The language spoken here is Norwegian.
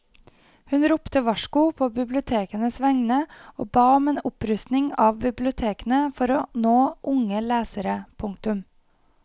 Hun ropte varsko på bibliotekenes vegne og ba om en opprustning av bibliotekene for å nå unge lesere. punktum